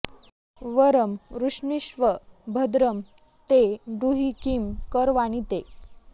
वरं वृष्णीष्व भद्रं ते ब्रूहि किं करवाणि ते